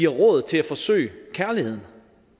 råd til at forsøge kærligheden